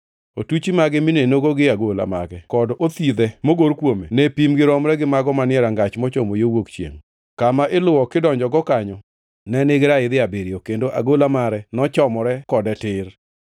Otuchi mage minenogo gi agola mage kod othidhe mogor kuome ne pimgi romre gi mago manie rangach mochomo yo wuok chiengʼ. Kama iluwo kidonjogo kanyo ne nigi raidhi abiriyo, kendo agola mare nochomore kode tir.